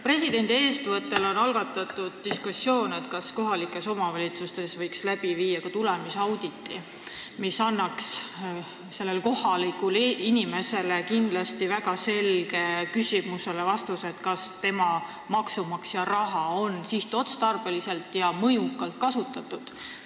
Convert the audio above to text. Presidendi eestvõttel on algatatud diskussioon selle üle, kas kohalikes omavalitsustes võiks teha ka tulemusauditi, mis annaks kohalikule inimesele kindlasti väga selge vastuse küsimusele, kas tema, maksumaksja raha on sihtotstarbeliselt ja mõjukalt kasutatud.